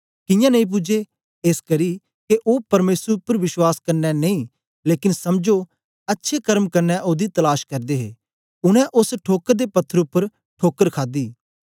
कियां नेई पूजे एसकरी के ओ परमेसर उपर विश्वास कन्ने नेई लेकन समझो अच्छे कर्मे कन्ने ओदी तलाश करदे हे उनै ओस ठोकर दे पत्थर उपर ठोकर खादी